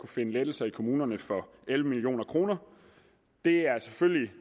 finde lettelser i kommunerne for elleve million kroner det er selvfølgelig